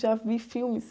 Já vi filmes.